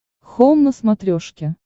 хоум на смотрешке